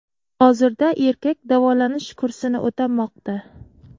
Hozirda erkak davolanish kursini o‘tamoqda.